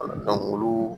Wala dɔnku olu